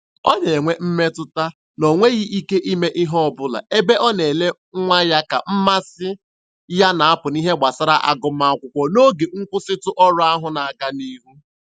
Ọ na-enwe mmetụta na o nweghị ike ime ihe ọbụla ebe ọ na-ele nwa ya ka mmasị ya na-apụ n'ihe gbasara agụmakwụkwọ n'oge nkwụsịtụ ọrụ ahụ na-aga n'ihu.